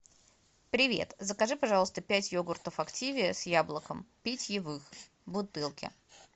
привет закажи пожалуйста пять йогуртов активиа с яблоком питьевых в бутылке